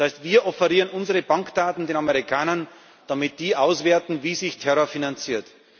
Das heißt, wir offerieren unsere Bankdaten den Amerikanern, damit die auswerten, wie sich Terror finanziert.